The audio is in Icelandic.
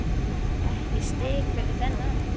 Ekkert stig fyrir þennan.